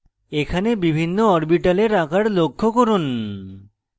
এখানে বিভিন্ন orbital আকার লক্ষ্য করুন